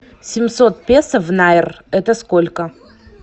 семьсот песо в найр это сколько